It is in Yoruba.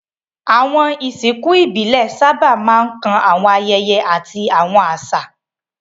Àwọn ìsìnkú ìbílẹ̀ sábà máa ń kan àwọn ayẹyẹ àti awọn áṣá